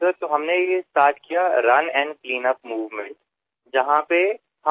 sir तर आम्हीरन cleanup movement ही मोहिम सुरू केली